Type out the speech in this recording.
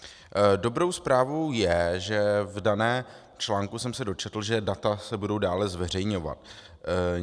Dobrou zprávou je, že v daném článku jsem se dočetl, že data se budou dále zveřejňovat.